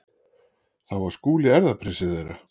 Þá var Skúli erfðaprinsinn þeirra.